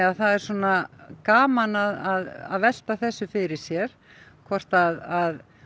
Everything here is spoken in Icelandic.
það er gaman að velta þessu fyrir sér hvort að